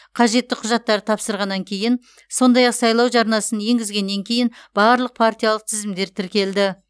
қажетті құжаттарды тапсырғаннан кейін сондай ақ сайлау жарнасын енгізгеннен кейін барлық партиялық тізімдер тіркелді